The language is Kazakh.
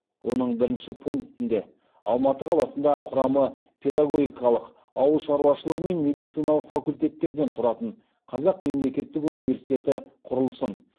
оның бірінші пунктында алматы қаласында құрамы педагогикалық ауыл шаруашылығы мен медициналық факультеттерден тұратын қазақ мемлекеттік университеті құрылсын